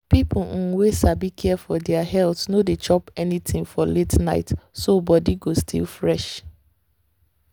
people um wey sabi care for their health no dey chop anything for late night so body go still fresh.